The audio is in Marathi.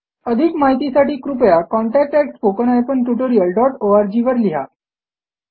अधिक माहितीसाठी कृपया contactspoken tutorialorg वर लिहा